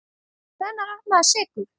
Hvenær er maður sekur?